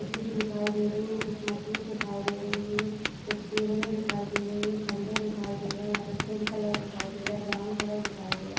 JCB. दिखाई दे रही है कुछ मशीन्स दिखाई दे रही है कुछ केबले दिखाई दे रही है खम्बे दिखाई दे रही है यहाँ पे पिंक कलर दिखाई दे रहा है ब्राउन कलर दिखाई दे रहा --